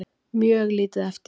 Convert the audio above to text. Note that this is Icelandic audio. Mjög lítið eftir.